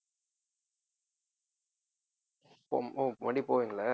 மறுபடியும் போவீங்களா